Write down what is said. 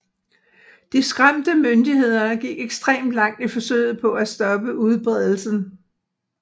De skræmte myndigheder gik ekstremt langt i forsøget på at stoppe udbredelsen